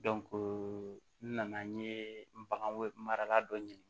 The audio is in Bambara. n nana n ye bagan mara la dɔ ɲini